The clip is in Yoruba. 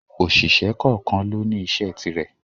Òṣìṣẹ́ kọ́ọ̀kan lóní iṣẹ́ ti rẹ̀.